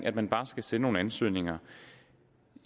at man bare skal sende nogle ansøgninger